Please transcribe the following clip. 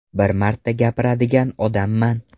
Bir marta gapiradigan odamman.